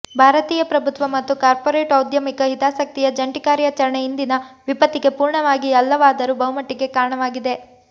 ಭಾರತೀಯ ಪ್ರಭುತ್ವ ಮತ್ತು ಕಾರ್ಪೊರೇಟ್ ಔದ್ಯಮಿಕ ಹಿತಾಸಕ್ತಿಯ ಜಂಟಿ ಕಾರ್ಯಾಚರಣೆ ಇಂದಿನ ವಿಪತ್ತಿಗೆ ಪೂರ್ಣವಾಗಿ ಅಲ್ಲವಾದರೂ ಬಹುಮಟ್ಟಿಗೆ ಕಾರಣವಾಗಿದೆ